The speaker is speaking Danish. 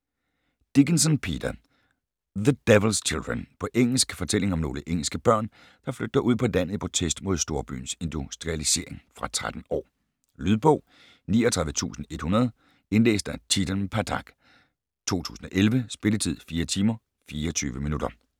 Dickinson, Peter: The Devil's Children På engelsk. Fortælling om nogle engelske børn, der flygter ud på landet i protest mod storbyens industrialisering. Fra 13 år. Lydbog 39100 Indlæst af Chetan Pathak, 2011. Spilletid: 4 timer, 24 minutter.